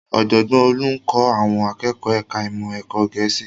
Ọ̀jọ̀gbọ́n Olú ń kọ́ àwọn akẹ́kọ̀ọ́ ẹ̀ka ìmọ̀ ẹ̀kọ́ Gẹ̀ẹ́sì